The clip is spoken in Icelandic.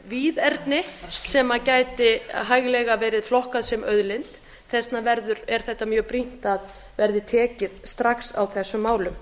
víðerni sem gæti hæglega verið flokkað sem auðlind þess vegna er mjög brýnt að tekið verði strax á þessum málum